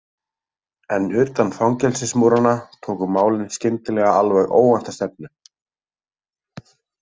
En utan fangelsismúranna tóku málin skyndilega alveg óvænta stefnu.